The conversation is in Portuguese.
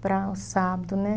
para sábado, né?